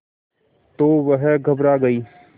तो वह घबरा गई